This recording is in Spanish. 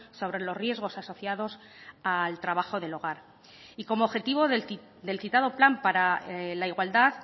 sobre los riesgos asociados al trabajo del hogar y como objetivo del citado plan para la igualdad